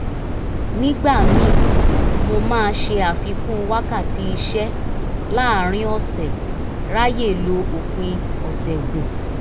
nígbà míì mo máa ṣe àfikún wákàtí iṣẹ́ láàárín ọ̀sẹ̀ ráyè lo òpin ọ̀sẹ̀ gùn